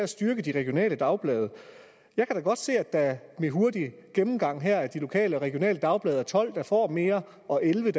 styrke de regionale dagblade jeg kan da godt se at der ved hurtig gennemgang her af de lokale og regionale dagblade er tolv der får mere og elleve